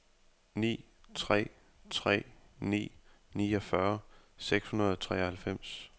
ni tre tre ni niogfyrre seks hundrede og treoghalvfems